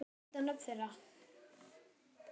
Hvenær fáum við að vita nöfn þeirra?